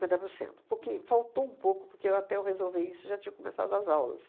por cento. Porque faltou um pouco, porque eu até eu resolver isso, já tinha começado as aulas.